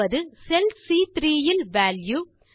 அதாவது செல் சி3 இல் வால்யூ